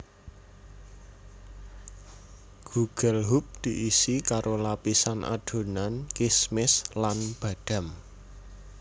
Gugelhupf diisi karo lapisan adonan kismis lan badam